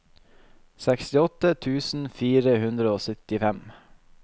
sekstiåtte tusen fire hundre og syttifem